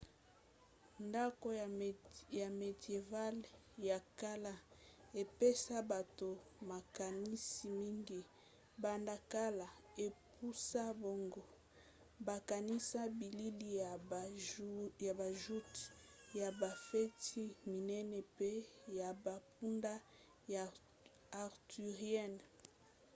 ndako ya médiéval ya kala epesa bato makanisi mingi banda kala epusa bango bakanisa bilili ya ba joutes ya bafeti minene mpe ya bampunda ya arthurienne